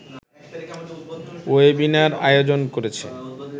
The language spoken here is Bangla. ওয়েবিনার আয়োজন করেছে